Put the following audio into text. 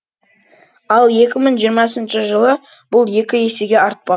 ал екі мың жиырмасыншы жылы бұл екі есеге артпақ